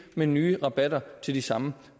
med nye rabatter til de samme